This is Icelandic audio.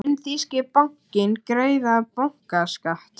Mun þýski bankinn greiða bankaskatt?